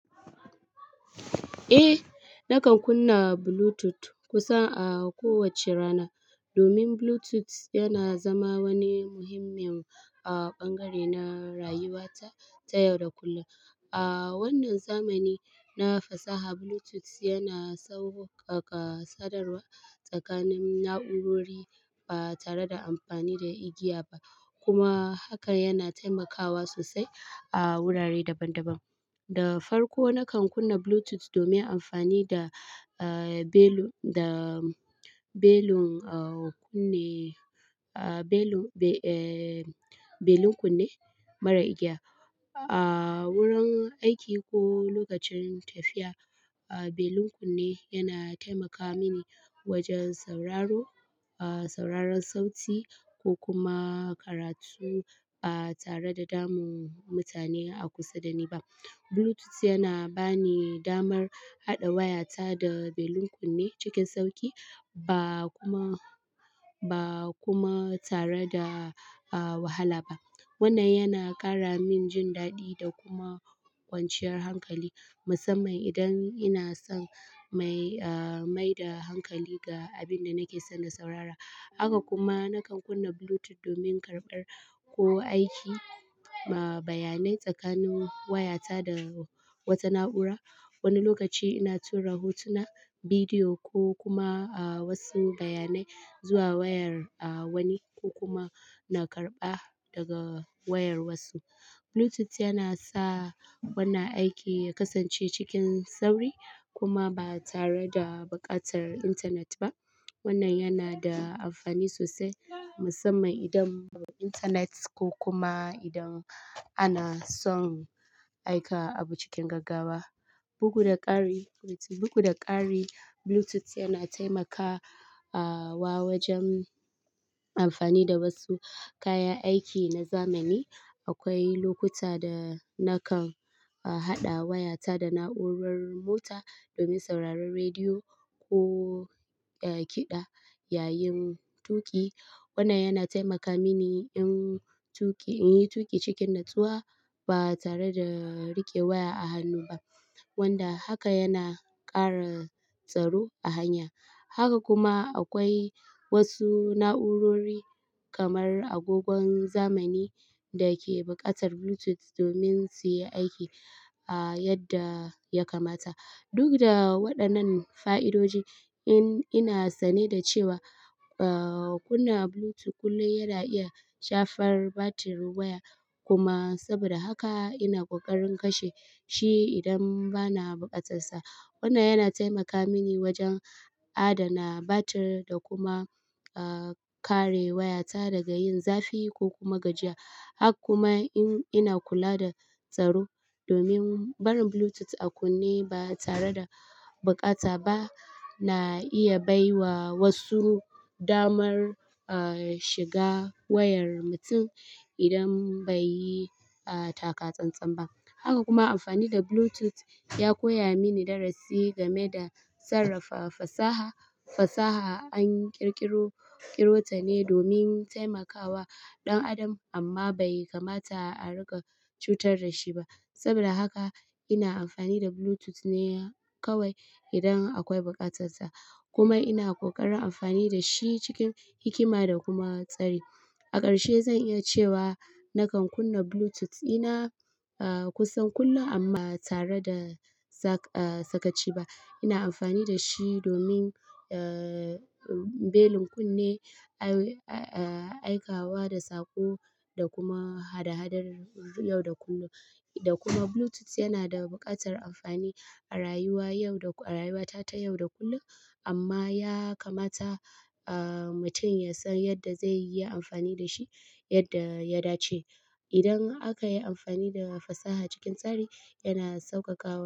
Eh, nakan kunna Bluetooth kusan a kowacce rana domin Bluetooth yana zama wani muhimmin a ɓangare na rayuwata ta yau da kullum. A wannan zamani na fasaha, Bluetooth yana sauƙaƙa sadarwa tsakanin na'urori ba tare da amfani da igiya ba kuma haka yana taimakawa sosai a wurare daban-daban. Da farko, nakan kunna Bluetooth domin amfani da, eh, belun, da belun, ah, kunne, ah, belu-- be-- eh, belun kunne mara igiya a wurin aiki ko lokacin tafiya. Ah, belun kunne yana taimaka mini wajan sauraro, ah, sauraron sauti ko kuma karatu ba tare da damun mutane a kusa da ni ba. Bluetooth yana ba ni damar haɗa wayata da belun kunne cikin sauƙi ba kuma, ba kuma tare da, ah, wahala ba. Wannan yana ƙara min jin daɗi da kuma kwanciyar hankali, musamman idan ina son mai, ah, maida hankali ga abin da nake so na saurara. Haka kuma nakan kunna Bluetooth domin karɓar ko aika, ma, bayanai tsakanin wayata da wata na'ura. Wani lokaci ina tura hotuna, bidiyo ko kuma, ah, wasu bayanai zuwa wayar, ah, wani ko kuma na karɓa daga wayar wasu. Bluetooth yana sa wannan aiki ya kasance cikin sauri kuma ba tare da buƙatar intanet ba. Wannan yana da amfani sosai, musamman idan intenet ko kuma idan ana son aika abu cikin gaggawa. Bugu da ƙari, bugu da ƙari, Bluetooth yana taimaka, ah, wa wajan amfani da wasu kayan aiki na zamani. Akwai lokuta da nakan, ah, haɗa wayata da na'urar mota domin sauraron rediyo ko, eh, kiɗa yayin tuƙi. Wannan yana taimaka mini in tuƙi, in yi tuƙi cikin natsuwa ba tare da riƙe waya a hannu ba, wanda haka yana ƙara tsaro a hanya. Haka kuma akwai wasu na'urori kamar agogon zamani da ke buƙatar Bluetooth domin su yi aiki, ah, yadda yakamata. Duk da waɗannan fa'idodi, in-ina sane da cewa, ah, kunna Bluetooth kullum yana iya shafar batirin waya kuma saboda haka ina ƙoƙarin kashe shi idan bana buƙatarsa. Wannan yana taimaka mini wajen adana batir da kuma, ah, kare wayata daga yin zafi ko kuma gajiya. Haka kuma in ina kula da tsaro domin barin Bluetooth a kunne ba tare da buƙata ba na iya bai wa wasu damar, ah, shiga wayar mutum idan bai yi, ah, taka tsantsan ba. Haka kuma amfani da Bluetooth ya koya mini darasi game da sarrafa fasaha. Fasaha an ƙirƙiro, ƙiro ta ne domin taimakawa ɗan adam amma bai kamata a riƙa cutar da shi ba. Saboda haka ina amfani da Bluetooth ne kawai idan akwai buƙatarta kuma ina ƙoƙarin amfani da shi cikin hikima da kuma tsari. A ƙarshe, zan iya cewa nakan kunna Bluetooth ina, ah, kusan kullum amma ba tare da saƙ-ah, sakaci ba. Ina amfani da shi domin, eh, belun kunne, ai-aikawa da saƙo da kuma hada-hadar yau da kullum. Da kuma Bluetooth yana da buƙatar amfani a rayuwa yau da, a rayuwata ta yau da kullum amma yakamata, ah, mutum ya san yadda zai yi amfani da shi yadda ya dace. Idan aka yi amfani da fasaha cikin tsari, yana sauƙaƙawa.